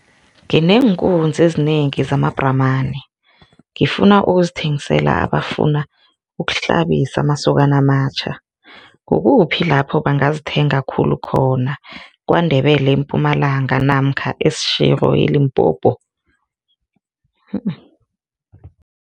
Ngineenkunzi ezinengi zamabhramani, ngifuna ukuzithengisela abafuna ukuhlabisa masokana amatjha, kukuphi lapho bangazithenga khulu khona, KwaNdebele, eMpumalanga namkha eSeshego eLimpopo?